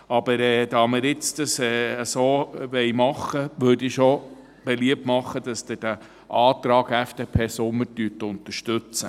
Da wir es aber nun so machen wollen, würde ich doch beliebt machen, dass Sie den Antrag FDP/Sommer unterstützen.